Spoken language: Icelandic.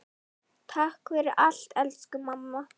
Takk fyrir allt elsku mamma.